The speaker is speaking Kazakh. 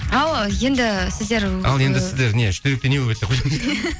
ал енді сіздер ал енді сіздер не үштеректе не болып еді